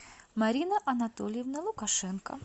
марина анатольевна лукашенко